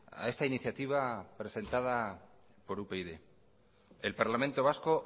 a esta iniciativa presentada por upyd el parlamento vasco